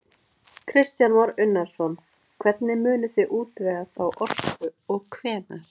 Kristján Már Unnarsson: Hvernig munið þið útvega þá orku og hvenær?